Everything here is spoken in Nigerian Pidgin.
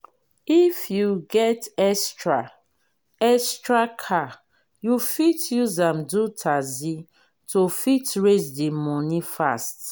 if you get extra extra car you fit use am do taxi to fit raise di money fast